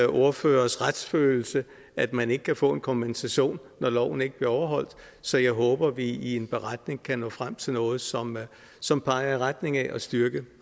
ordføreres retsfølelse at man ikke kan få en kompensation når loven ikke bliver overholdt så jeg håber at vi i en beretning kan nå frem til noget som som peger i retning af at styrke